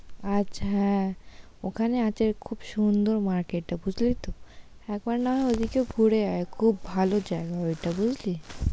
আচ্ছা, হ্যাঁ ওখানে আছে খুব সুন্দর মার্কেট টা, বুঝলি তো। একবার না হয় ওদিকে ঘুরে আয়, খুব ভালো জায়গা ওটা বুঝলি